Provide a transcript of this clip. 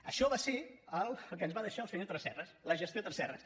això va ser el que ens va deixar el senyor tresserras la gestió tresserras